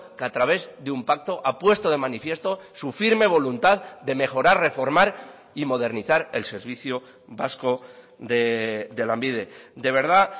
que a través de un pacto ha puesto de manifiesto su firme voluntad de mejorar reformar y modernizar el servicio vasco de lanbide de verdad